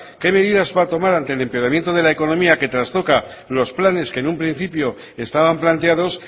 qué medidas va a tomar ante el empeoramiento de la economía que trastoca los planes que en un principio estaban planteados